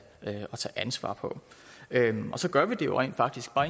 ansvar på så gør vi det jo rent faktisk bare